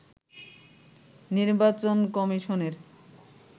নির্বাচন কমিশনের